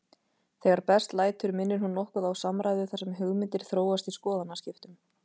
Þegar best lætur minnir hún nokkuð á samræðu þar sem hugmyndir þróast í skoðanaskiptum.